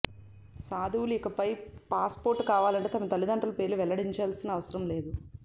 సాధువులు ఇకపై పాసుపోర్టు కావాలంటే తమ తల్లిదండ్రుల పేర్లు వెల్లడించాల్సిన అవసరం లేదు